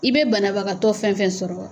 I be banabagatɔ fɛn fɛn sɔrɔ yan